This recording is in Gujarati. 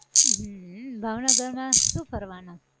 હમ ભાવનગર માં શું કરવાનાં!